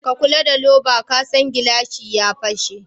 Ka kula da louver kasan gilashi ya fashe.